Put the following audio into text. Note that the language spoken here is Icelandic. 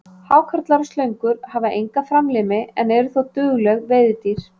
Hákarlar og slöngur hafa enga framlimi en eru þó dugleg veiðidýr.